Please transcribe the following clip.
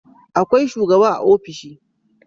Akwai shugaba a ofishi